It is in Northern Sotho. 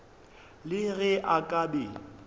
le ge a ka be